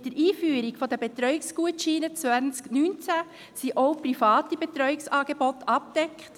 Mit der Einführung der Betreuungsgutscheine 2019 sind auch private Betreuungsangebote abgedeckt.